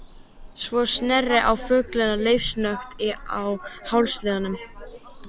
Svo sneri hann fuglinn leiftursnöggt úr hálsliðnum.